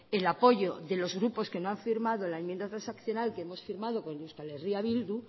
el apoyo de los grupos que no han firmado la enmienda transaccional que hemos firmado con eh bildu